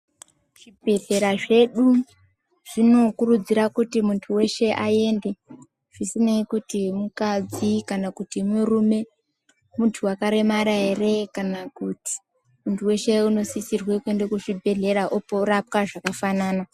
Zvigwehlera zvedu zvinokurudzira kuti muntu weshe aende zvisinei kuti mukadzi kana kuti murume ,muntu wakaremara here kana kuti ,muntu weshe unosisirwe kuenda kuzvigwehlera opora orapwa zvakafanana.